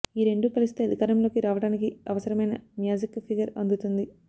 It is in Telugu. ఈ రెండూ కలిస్తే అధికారంలోకి రావడానికి అవసరమైన మ్యాజిక్ ఫిగర్ అందుతుంది